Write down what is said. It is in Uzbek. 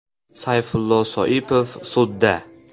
Sayfullo Soipov sudda.